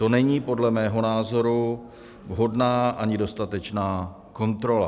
To není podle mého názoru vhodná ani dostatečná kontrola.